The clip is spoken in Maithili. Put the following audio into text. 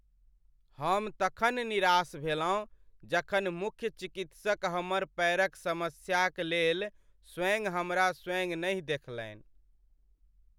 हम तखन निराश भेलहुँ जखन मुख्य चिकित्सक हमर पैरक समस्याक लेल स्वयं हमरा स्वयँ नहि देखलनि ।